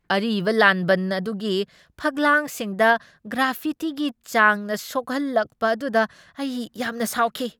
ꯑꯔꯤꯕ ꯂꯥꯟꯕꯟ ꯑꯗꯨꯒꯤ ꯐꯛꯄꯥꯜꯁꯤꯡꯗ ꯒ꯭ꯔꯥꯐꯤꯇꯤꯒꯤ ꯆꯥꯡꯅ ꯁꯣꯛꯍꯜꯂꯛꯄ ꯑꯗꯨꯗ ꯑꯩ ꯌꯥꯝꯅ ꯁꯥꯎꯈꯤ ꯫